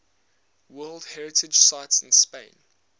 world heritage sites in spain